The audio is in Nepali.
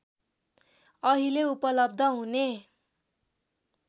अहिले उपलब्ध हुने